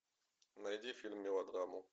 найди фильм мелодраму